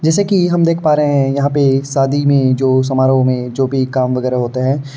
जैसा कि हम देख पा रहे हैं यहाँ पे शादी में जो समारोह में जो भी काम वगैरा होता है।